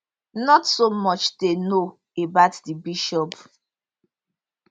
not so much dey known about di bishop